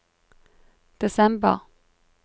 desember